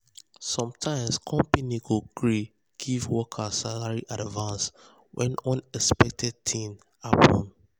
sometimes company go gree give um workers salary advance when unexpected things happen. um